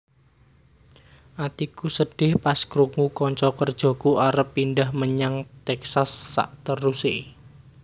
Atiku sedih pas krungu konco kerjoku arep pindah menyang Texas sakteruse